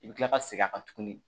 I bɛ kila ka segin a kan tuguni